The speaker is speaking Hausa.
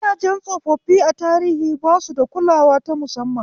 Gidajen tsofaffi a tarihi ba su da kulawa ta musamman.